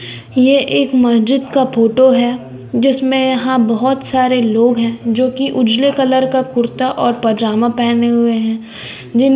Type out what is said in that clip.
ये एक म्हजिद का फ़ोटो है जिसमे यहां बहोत सारे लोग हैं जोकि उजले कलर का कुर्ता और पैजामा पहने हुए हैं।